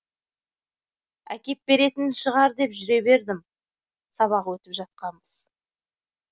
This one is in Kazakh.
әкеп беретін шығар деп жүре бердім сабақ өтіп жатқанбыз